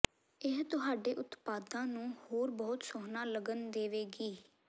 ਇਹ ਤੁਹਾਡੇ ਉਤਪਾਦਾਂ ਨੂੰ ਹੋਰ ਬਹੁਤ ਸੋਹਣਾ ਲੱਗਣ ਦੇਵੇਗੀ